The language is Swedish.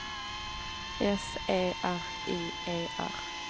S E R I E R